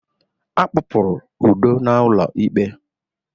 Akpọ pụrụ Udo n'ụlọ ikpe.